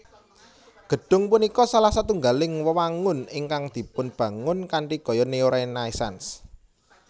Gedhung punika salah setunggaling wewangunan ingkang dipunbangun kanthi gaya neo renaisance